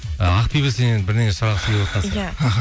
і ақбибі сеннен бірдеңе сұрағысы келіп отырған иә іхі